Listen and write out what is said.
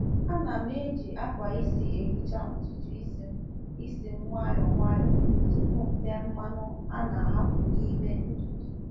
Ana m eji akwa isi ehicha ntutu isi m isi m nwayọ nwayọ tupu m tee mmanu a na-ahapụ n’ime ntutu.